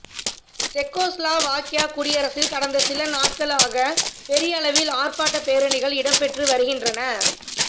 செக்கோஸ்லாவாக்கியா குடியரசில் கடந்த சில நாட்களாக பாரியளவில் ஆர்ப்பாட்டப் பேரணிகள் இடம்பெற்று வருகின்